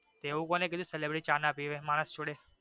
તો એવું કોને કીધું સેલેબ્રીટી ચા ના પીવે માણસ જોડે